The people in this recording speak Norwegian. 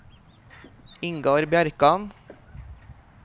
Ingar Bjerkan